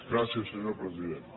gràcies senyor president